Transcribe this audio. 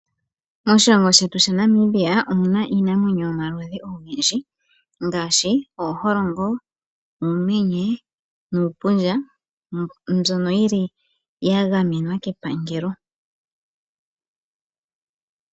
Moshilongo sheyu shaNamibia omuna iinamwenyo yomaludhi ogendji ngaashi ooholongo, uumenye, nuupundja mbyono yili ya gamenwa kepangelo.